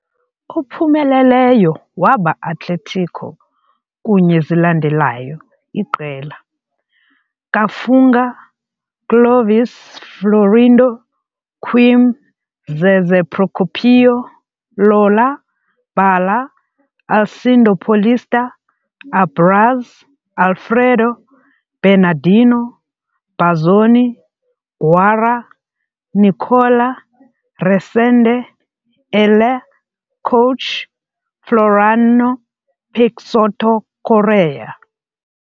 Ophumeleleyo waba Atlético kunye zilandelayo iqela- "Kafunga, Clóvis - Florindo, Quim - Zezé Procópio, Lola, Bala, Alcindo - Paulista, Abraz, Alfredo Bernardino, Bazzoni, Guará, Nicola, Resende, Elair" - Coach- "Floriano Peixoto Corrêa".